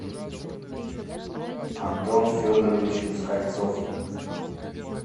антон федорович москальцов